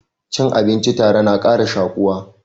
Cin abinci tare na ƙara shaƙuwa